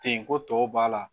Ten ko tɔw b'a la